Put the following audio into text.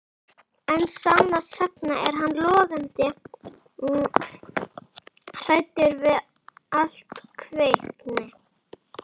En sannast sagna er hann logandi hræddur við allt kvenkyn